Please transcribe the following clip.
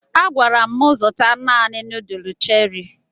A gwara m zụta naanị nuduls Cherị